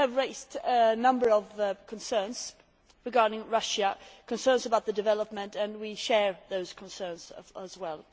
You have raised a number of concerns regarding Russia concerns about development and we share those concerns as well.